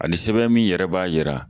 Ani sɛbɛn min yɛrɛ b'a jira.